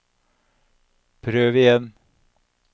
prøv igjen